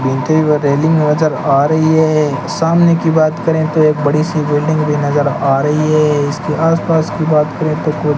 ईंटे व रेलिंग नजर आ रही है सामने की बात करें तो एक बड़ी सी बिल्डिंग भी नजर आ रही है इसके आस पास की बात करें तो --